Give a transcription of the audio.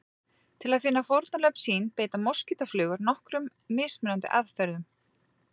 Til að finna fórnarlömb sín beita moskítóflugur nokkrum mismunandi aðferðum.